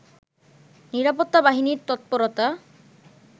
নিরাপত্তা বাহিনীর তৎপরতা